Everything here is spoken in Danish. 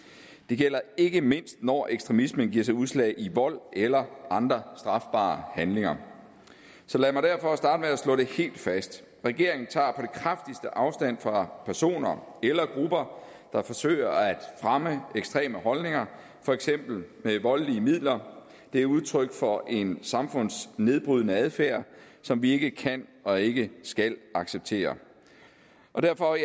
det gælder ikke mindst når ekstremismen giver sig udslag i vold eller andre strafbare handlinger så lad mig derfor starte med at slå det helt fast regeringen tager afstand fra personer eller grupper der forsøger at fremme ekstreme holdninger for eksempel med voldelige midler det er udtryk for en samfundsnedbrydende adfærd som vi ikke kan og ikke skal acceptere derfor